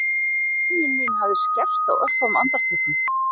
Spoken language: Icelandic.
Skynjun mín hafði skerpst á örfáum andartökum